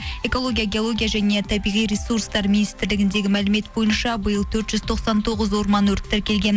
экология геология және табиғи ресурстар министрлігіндегі мәлімет бойынша биыл төрт жүз тоқсан тоғыз орман өрті тіркелген